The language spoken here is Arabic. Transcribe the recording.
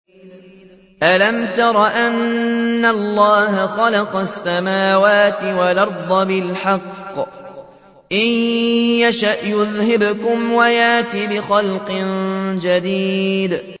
أَلَمْ تَرَ أَنَّ اللَّهَ خَلَقَ السَّمَاوَاتِ وَالْأَرْضَ بِالْحَقِّ ۚ إِن يَشَأْ يُذْهِبْكُمْ وَيَأْتِ بِخَلْقٍ جَدِيدٍ